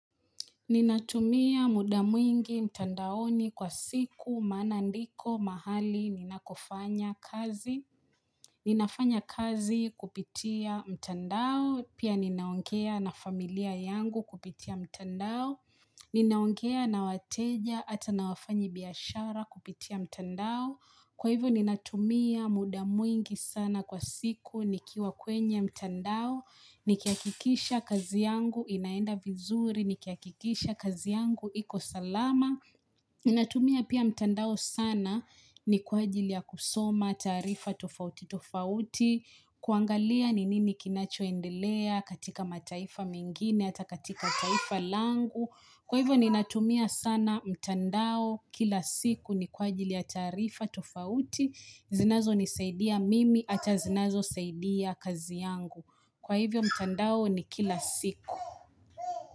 Ninatumia mudamwingi mtandaoni kwa siku maanandiko mahali ninakofanya kazi. Ninafanya kazi kupitia mtandao, pia ninaongea na familia yangu kupitia mtandao. Ninaongea na wateja ata na wafanyibiashara kupitia mtandao. Kwa hivyo ninatumia mudamwingi sana kwa siku nikiwa kwenye mtandao. Nikiakikisha kazi yangu inaenda vizuri, nikiakikisha kazi yangu ikosalama inatumia pia mtandao sana ni kwa ajili ya kusoma, taarifa, tofauti, tofauti kuangalia ni nini kinachoendelea katika mataifa mengine, ata katika taifa langu Kwa hivyo ni natumia sana mtandao kila siku ni kwa ajili ya taarifa, tofauti zinazo nisaidia mimi, hata zinazo saidia kazi yangu Kwa hivyo mtandao ni kila siku.